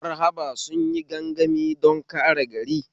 Marhaba sunyi gangami don kare gari